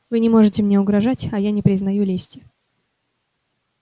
вы не можете мне угрожать а я не признаю лести